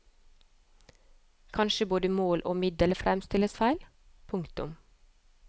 Kanskje både mål og middel fremstilles feil. punktum